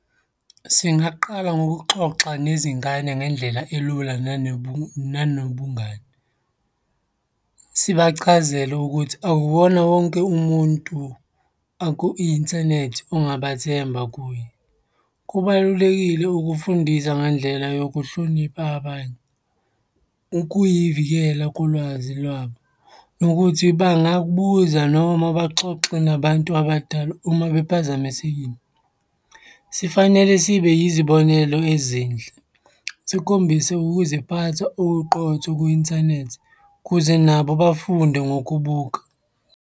Singaqala ngokuxoxa nezingane ngendlela elula nanobungani. Sibachazele ukuthi akuwona wonke umuntu aku-inthanethi ongabathemba kuye. Kubalulekile ukufundisa ngendlela yokuhlonipha abanye ukuyivikela kolwazi lwabo, nokuthi bangakubuza noma baxoxe nabantu abadala uma bephazamisekile. Sifanele sibe yizibonelo ezinhle, sikhombise ukuziphatha okuqotho kwi-inthanethi kuze nabo bafunde ngokubuka.